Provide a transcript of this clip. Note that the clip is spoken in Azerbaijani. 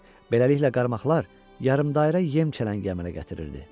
Beləliklə, qarmaqlar yarımdairə yem çələngi əmələ gətirirdi.